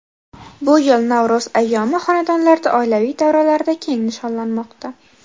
Bu yil Navro‘z ayyomi xonadonlarda, oilaviy davralarda keng nishonlanmoqda.